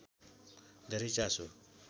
धेरै चासो